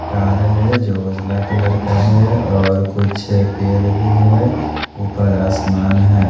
Car है जो उजला कलर का है और कुछ पेर भी है ऊपर आसमान है।